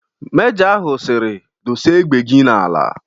Mejọ ahụ siri "Dosee égbè gị n'ala"